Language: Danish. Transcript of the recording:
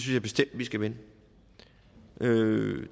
jeg bestemt vi skal vende